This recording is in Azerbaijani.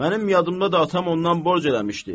Mənim yadımda da atam ondan borc eləmişdi.